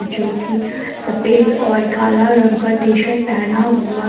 जो कि सफेद और काला रंग का टी_शर्ट पहना हुआ है।